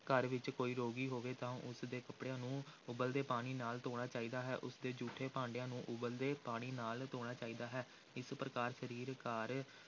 ਘਰ ਵਿਚ ਕੋਈ ਰੋਗੀ ਹੋਵੇ ਤਾਂ ਉਸ ਦੇ ਕੱਪੜਿਆਂ ਨੂੰ ਉਬਲਦੇ ਪਾਣੀ ਨਾਲ ਧੋਣਾ ਚਾਹੀਦਾ ਹੈ, ਉਸਦੇ ਜੂਠੇ ਭਾਂਡਿਆਂ ਨੂੰ ਉਬਲਦੇ ਪਾਣੀ ਨਾਲ ਧੋਣਾ ਚਾਹੀਦਾ ਹੈ, ਇਸ ਪ੍ਰਕਾਰ ਸਰੀਰ, ਘਰ,